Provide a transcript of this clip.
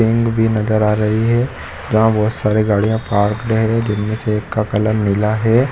--King नज़र आ रही है जहाँ बहुत सारी गाड़िया पार्कड है जिनमे से एक का कलर नीला है।